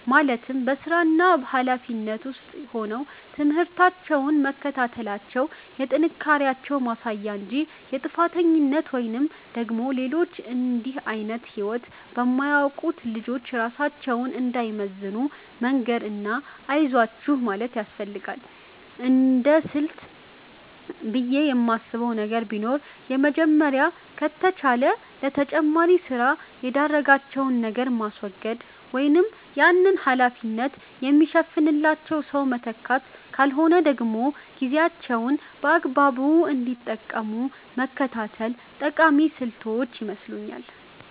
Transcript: ማለትም በስራና ሀላፊነት ውስጥ ሆነው ትምህርታቸውን መከታተላቸው የጥንካሬያቸው ማሳያ እንጂ የጥፋተኝነት ወይም ደግሞ ሌሎች እንድህ አይነት ህይወት በማያውቁት ልጆች ራሳቸውን እንዳይመዝኑ መንገር እና አይዟችሁ ማለት ያስፈልጋል። እንደስልት ብየ የማነሳው ነገር ቢኖር የመጀመሪያው ከተቻለ ለተጨማሪ ስራ የዳረጋቸውን ነገር ማስወገድ ወይም ያንን ሀላፊነት የሚሸፍንላቸው ሰው መተካት ካልሆነ ደግሞ ጊዜያቸውን በአግባቡ እንዲጠቀሙ መከታተል ጠቃሚ ስልቶች ይመስለኛል።